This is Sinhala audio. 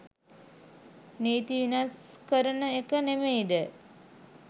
නීති වෙනස් කරන එක නෙමෙයිද?